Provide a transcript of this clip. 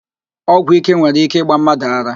Ọgwụíké nwere íké ịgba mmadụ ara